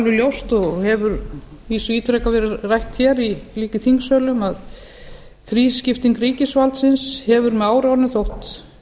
ljóst og hefur að vísu ítrekað verið rætt hér líka í þingsölum að þrískipting ríkisvaldsins hefur með árunum þótt